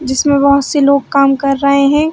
जिसमे बोहत से लोग काम कर रहे है।